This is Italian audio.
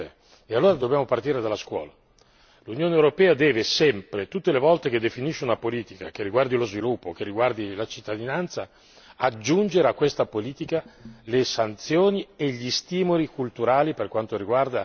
L'Unione europea deve sempre, tutte le volte che definisce una politica, che riguardi lo sviluppo, che riguardi la cittadinanza, aggiungere a questa politica le sanzioni e gli stimoli culturali per quanto riguarda la diffusione dei diritti delle persone.